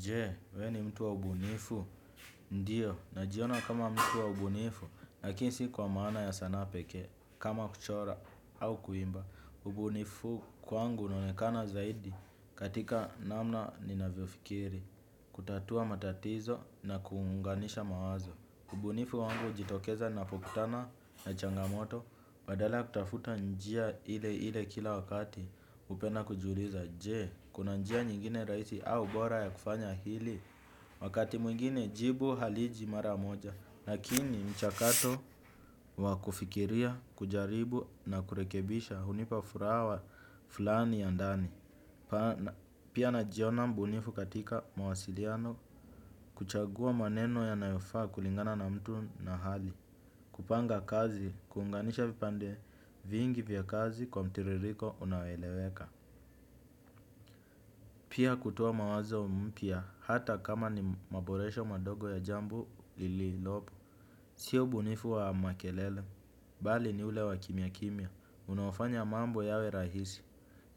Jee, we ni mtu wa ubunifu? Ndiyo, najiona kama mtu wa ubunifu, lakini si kwa maana ya sanaa pekee, kama kuchora au kuimba. Ubunifu kwangu unaonekana zaidi katika namna ninavyofikiri, kutatua matatizo na kuunganisha mawazo. Ubunifu wangu ujitokeza napokutana na changamoto, badala ya kutafuta njia ile ile kila wakati, upena kujiuliza. Je, kuna njia nyingine raisi au bora ya kufanya hili. Wakati mwingine jibu haliji mara moja lakini mchakato wa kufikiria, kujaribu na kurekebisha hunipa furaha fulani ya ndani. Pia najiona mbunifu katika mawasiliano. Kuchagua maneno yanayofaa kulingana na mtu na hali. Kupanga kazi, kuunganisha vipande vingi vya kazi kwa mtiririko unaoeleweka. Pia kutoa mawazo mpya, hata kama ni maboresho madogo ya jambo lililopo. Sio ubunifu wa makelele, bali ni ule wa kimya kimya, unaofanya mambo yawe rahisi,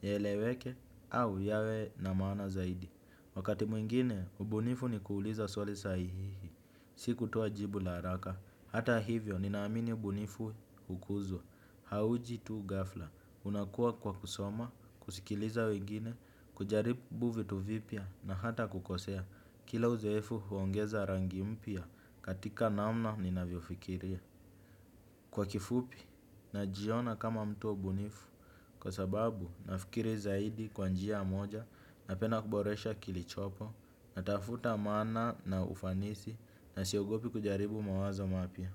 yaeleweke au yawe na maana zaidi. Wakati mwingine, ubunifu ni kuuliza swali saihihi. Sikutowa jibu la haraka, hata hivyo, ninaamini ubunifu ukuzwa, hauji tu ghafla. Unakua kwa kusoma, kusikiliza wengine, kujaribu vitu vipya na hata kukosea. Kila uzoefu huongeza rangi mpya katika namna ninavyofikiria. Kwa kifupi, najiona kama mtu wa ubunifu. Kwa sababu, nafikiri zaidi kwa njia moja napenda kuboresha kilichopo. Natafuta maana na ufanisi na siogopi kujaribu mawazo mapya.